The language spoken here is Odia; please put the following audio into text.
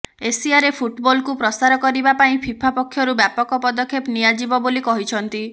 ଏସିଆରେ ଫୁଟବଲକୁ ପ୍ରସାର କରିବା ପାଇଁ ଫିଫା ପକ୍ଷରୁ ବ୍ୟାପକ ପଦକ୍ଷେପ ନିଆଯିବ ବୋଲି କହିଛନ୍ତି